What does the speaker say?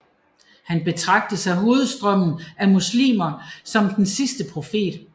Han betragtes af hovedstrømmen af muslimer som den sidste profet